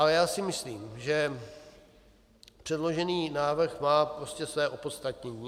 Ale já si myslím, že předložený návrh má prostě své opodstatnění.